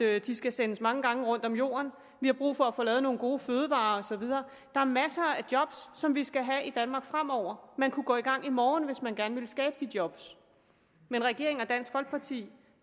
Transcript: at de skal sendes mange gange rundt om jorden og vi har brug for at få lavet nogle gode fødevarer og så videre der er masser af job som vi skal have i danmark fremover man kunne gå i gang i morgen hvis man gerne ville skabe de job men regeringen og dansk folkeparti